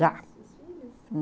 Já. Seus filhos?